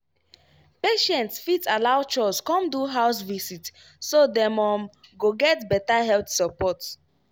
patients fit allow chws come do house visit so dem um go get better health support.